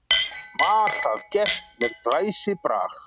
Var það gert með glæsibrag.